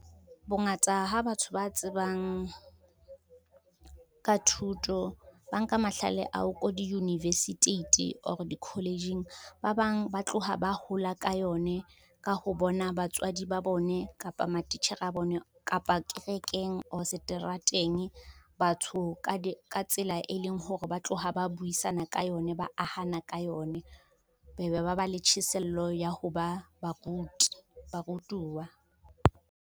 Bongata ha batho ba tsebang, ka thuto ba nka mahlale ao ko di-universiteit or di-college-ng. Ba bang ba tloha ba hola ka yone, ka ho bona batswadi ba bone, kapa matitjhere a bone, kapa kerekeng or seterateng, batho ka tsela e leng hore ba tloha ba buisana ka yone, ba ahana ka yone be be ba ba le tjheselo ya ho ba barutuwa.